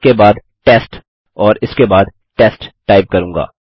आपके पास केवल टेस्ट होना चाहिए और हमें टेस्ट मिला है